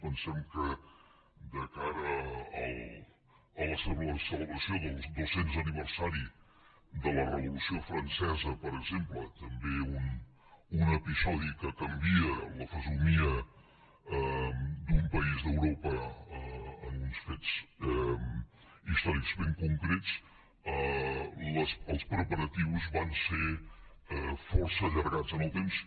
pensem que de cara a la celebració dels dos cents aniversari de la revolució francesa per exemple també un episodi que canvia la fesomia d’un país d’europa en uns fets històrics ben concrets els preparatius van ser força allargats en el temps